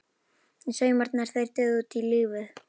Og saumarnir- þeir dygðu út lífið.